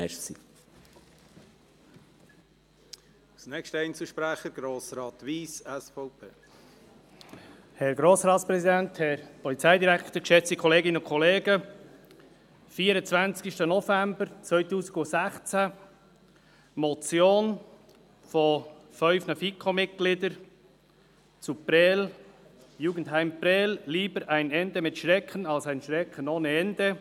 Am 24. November 2016, wurde von fünf FiKo-Mitgliedern eine Motion zum Jugendheim Prêles eingereicht: «Jugendheim Prêles – Lieber ein Ende mit Schrecken als ein Schrecken ohne Ende!